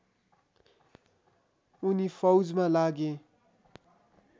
उनी फौजमा लागे